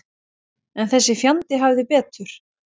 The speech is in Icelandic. En þessi fjandi hafði betur.